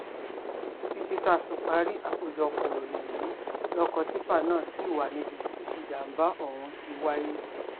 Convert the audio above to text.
títí táa fi parí àkójọpọ̀ ìròyìn yìí lọkọ̀ tìpá náà ṣì wà níbi tí ìjàmbá ọ̀hún ti wáyé